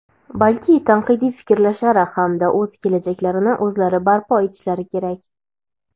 balki tanqidiy fikrlashlari hamda o‘z kelajaklarini o‘zlari barpo etishlari kerak.